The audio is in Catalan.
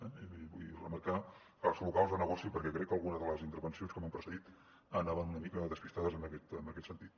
vull remarcar els locals de negoci perquè crec que alguna de les intervencions que m’han precedit anaven una mica despistats en aquest sentit